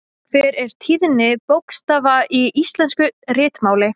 Hver er tíðni bókstafa í íslensku ritmáli?